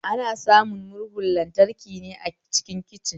Ana samun murhun lantraki ne a kicin